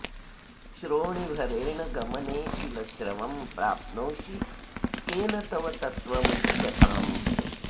श्रोणीभरेण गमने किल श्रमं प्राप्नोषि केन तव तत्त्वमुच्यताम्